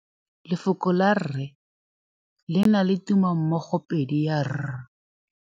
Lefoko la rre, le na le tumammogôpedi ya, r.